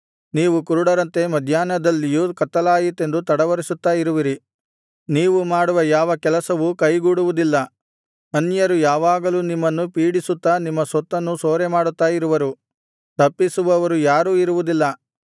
ನೀವು ಕುರುಡರಂತೆ ಮಧ್ಯಾಹ್ನದಲ್ಲಿಯೂ ಕತ್ತಲಾಯಿತೆಂದು ತಡವರಿಸುತ್ತಾ ಇರುವಿರಿ ನೀವು ಮಾಡುವ ಯಾವ ಕೆಲಸವೂ ಕೈಗೂಡುವುದಿಲ್ಲ ಅನ್ಯರು ಯಾವಾಗಲೂ ನಿಮ್ಮನ್ನು ಪೀಡಿಸುತ್ತಾ ನಿಮ್ಮ ಸೊತ್ತನ್ನು ಸೂರೆಮಾಡುತ್ತಾ ಇರುವರು ತಪ್ಪಿಸುವವರು ಯಾರೂ ಇರುವುದಿಲ್ಲ